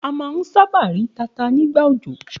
A má a ń sábà rí tata nígbà òjò.